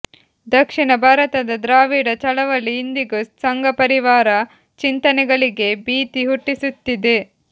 ದಕ್ಷಿಣ ಭಾರತದ ದ್ರಾವಿಡ ಚಳವಳಿ ಇಂದಿಗೂ ಸಂಘಪರಿವಾರ ಚಿಂತನೆಗಳಿಗೆ ಬೀತಿ ಹುಟ್ಟಿಸುತ್ತಿದೆ